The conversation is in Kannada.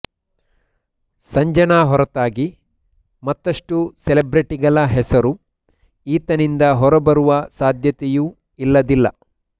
ಸಂಜನಾ ಹೊರತಾಗಿ ಮತ್ತಷ್ಟು ಸೆಲೆಬ್ರಿಟಿಗಳ ಹೆಸರು ಈತನಿಂದ ಹೊರಬರುವ ಸಾಧ್ಯತೆಯೂ ಇಲ್ಲದಿಲ್ಲ